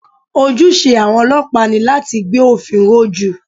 Ojúṣe àwọn ọlọ́pàá ni láti gbé òfin ró jù